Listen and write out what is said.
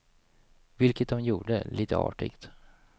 Vilket de gjorde, lite artigt.